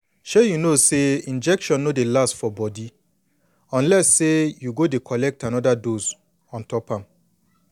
shay you know say injection no dey last for body unless say you go dey collect anoda dose ontop am